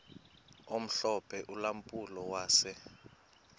omhlophe ulampulo wase